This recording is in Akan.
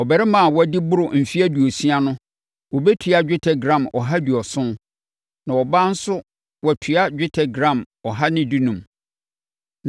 Ɔbarima a wadi boro mfeɛ aduosia no wɔbɛtua dwetɛ gram ɔha aduɔson (170); na ɔbaa nso wɔatua dwetɛ gram ɔha ne dunum (115).